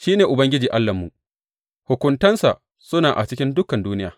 Shi ne Ubangiji Allahnmu; hukuntansa suna a cikin dukan duniya.